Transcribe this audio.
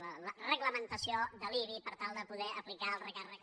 la reglamentació de l’ibi per tal de po·der aplicar el recàrrec